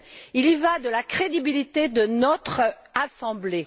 Il y va de la crédibilité de notre Assemblée.